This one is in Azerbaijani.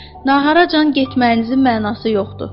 Naharacan getməyinizin mənası yoxdur.